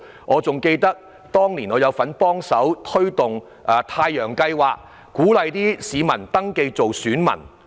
我記得當年我也有份參與推動"太陽計劃"，鼓勵市民登記做選民。